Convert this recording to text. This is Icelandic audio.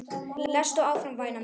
Lestu áfram væna mín!